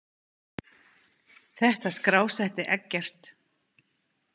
Þetta skrásetti Eggert.